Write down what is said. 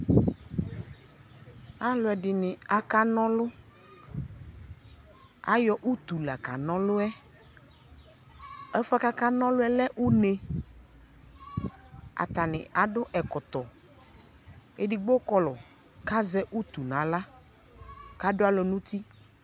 Alu ɛdini akana ɔlu ayɔ utu la kana ɔlu yɛ Ɛfuɛ kakana ɔlu yɛ lɛ une atani adu ɛkɔtɔ edigbo kɔlɔ ku azɛ utu nu aɣla ku adu alɔ nu uti